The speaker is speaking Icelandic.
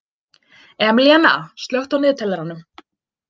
Emilíanna, slökktu á niðurteljaranum.